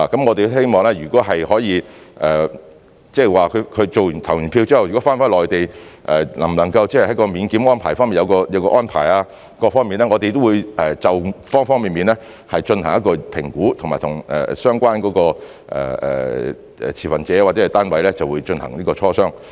我們希望，如果可以，即是他們投票後如果返回內地，能否在免檢方面有所安排等，我們會就方方面面進行評估，以及和相關持份者或單位進行磋商。